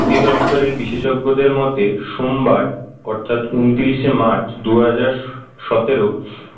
অধিদপ্তরের বিশেষজ্ঞদের মতে সোমবার অর্থাৎ উনিশে মার্চ দুই হাজার সতেরো